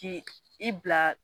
Jigin i bila